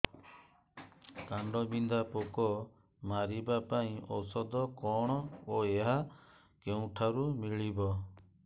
କାଣ୍ଡବିନ୍ଧା ପୋକ ମାରିବା ପାଇଁ ଔଷଧ କଣ ଓ ଏହା କେଉଁଠାରୁ ମିଳିବ